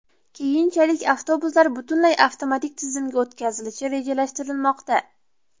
Keyinchalik avtobuslar butunlay avtomatik tizimga o‘tkazilishi rejalashtirilmoqda.